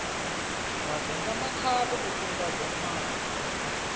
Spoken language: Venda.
vhavenḓa makhado o kunda gomane